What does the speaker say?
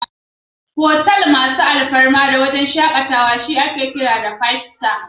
Otal masu alfarma sosai da wuraren shakatawa ake kira Five Star.